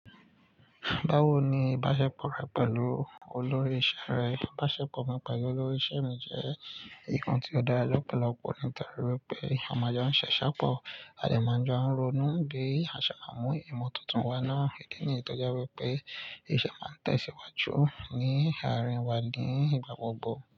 Báwo ni ìbáṣepọ̀ rẹ̀ pẹ̀lú olórí iṣẹ́ rẹ̀? Ìbáṣepọ̀ mi pẹ̀lú olórí iṣẹ́ mi jẹ́ ǹkan tí ó dára lọ̀pọ̀lọpọ̀ nítorí wípé a máa jọ sisèpọ̀, a dẹ̀ máa joun ronú, bí a ṣe má mú ìmọ̀ tuntun wa náà, ìdí ni tọ̀ jewi pé iṣẹ́ wa ń tẹ̀síwájú ní àárín wa ní ìgbà gbogbo.